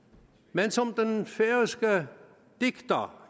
men som den færøske digter